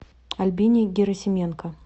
альбине герасименко